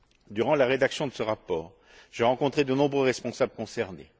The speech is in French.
Durant la rédaction de ce rapport, j'ai rencontré de nombreux responsables concernés.